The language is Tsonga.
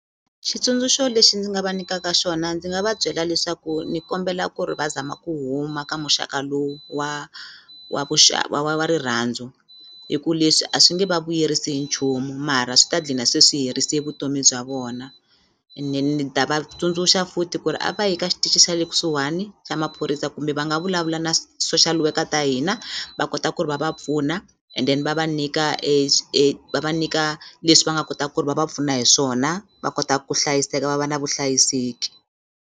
Xitsundzuxo lexi ndzi nga va nyikaka xona ndzi nga va byela leswaku ni kombela ku ri va zama ku huma ka muxaka lowu wa wa wa wa rirhandzu hi ku leswi a swi nge va vuyerisi hi nchumu mara swi ta dlina se swi herise vutomi bya vona ene ni ta va tsundzuxa futhi ku ri a va yi ka xitichi xa le kusuhani xa maphorisa kumbe va nga vulavula na social worker ta hina va kota ku ri va va pfuna and then va va nyika va va nyika leswi va nga kota ku ri va va pfuna hi swona va kota ku hlayiseka va va na vuhlayiseki.